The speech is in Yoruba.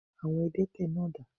Àwon adẹ́tẹ̀ náà dà?